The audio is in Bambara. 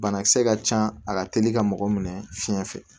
Banakisɛ ka ca a ka teli ka mɔgɔ minɛ fiɲɛ fɛ